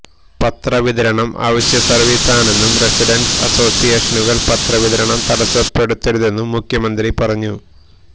പത്രവിതരണം അവശ്യസർവീസ് ആണെന്നും റസിഡൻസ് അസോസിയേഷനുകൾ പത്രവിതരണം തടസ്സപ്പെടുത്തരുതെന്നും മുഖ്യമന്ത്രി പറഞ്ഞു